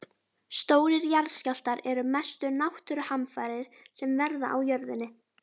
Stórir jarðskjálftar eru mestu náttúruhamfarir sem verða á jörðinni.